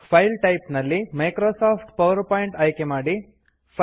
file type ನಲ್ಲಿ Microsoft PowerPoint ಆಯ್ಕೆ ಮಾಡಿ